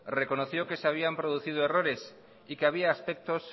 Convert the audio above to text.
reconoció que se habían producido errores y que había aspectos